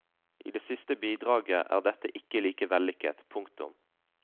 I det siste bidraget er dette ikke like vellykket. punktum